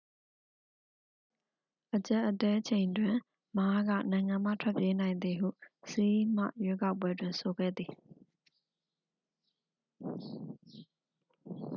အကြပ်အတည်းချိန်တွင် မားက နိုင်ငံမှထွက်ပြေးနိုင်သည်ဟု ဆီးဟ်မှ ရွေးကောက်ပွဲတွင် ဆိုခဲ့သည်